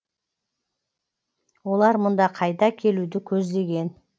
олар мұнда қайта келуді көздеген